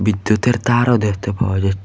বিদ্যুতের তারও দেখতে পাওয়া যাচ্ছে।